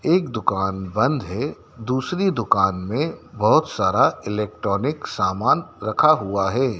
एक दुकान बंद है दूसरी दुकान में बहुत सारा इलेक्ट्रॉनिक सामान रखा हुआ है।